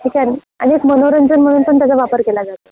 ठीक आहे न आणि एक मनोरंजन म्हणून पण त्याचा वापर केला जातो.